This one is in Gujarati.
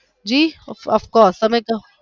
જી of course તમે કહો.